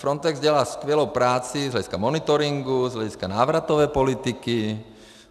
Frontex dělá skvělou práci z hlediska monitoringu, z hlediska návratové politiky.